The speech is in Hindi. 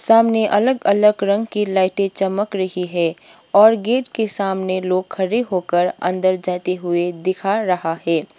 सामने अलग अलग रंग की लाइटे चमक रही है और गेट के सामने लोग खड़े होकर अंदर जाते हुए दिखा रहा है।